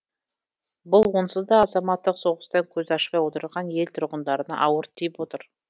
бұл онсыз да азаматтық соғыстан көз ашпай отырған ел тұрғындарына ауыр тиіп отыр